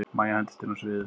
Mæja hendist inn á sviðið.